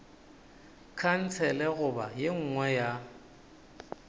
khansele goba ye nngwe ya